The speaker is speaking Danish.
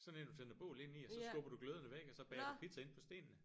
Sådan en du tænder bål inde i og så skubber du gløderne væk og så bager du pizza inde på stenene